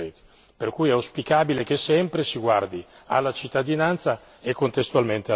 Per cui è auspicabile che sempre si guardi alla cittadinanza e contestualmente al lavoro.